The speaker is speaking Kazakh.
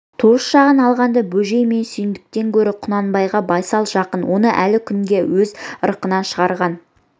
туыс жағын алғанда бөжей мен сүйіндіктен көрі құнанбайға байсал жақын оны әлі күнге өз ырқынан шығарған